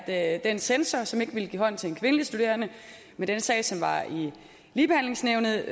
at den censor som ikke ville give hånd til en kvindelig studerende i den sag som var i ligebehandlingsnævnet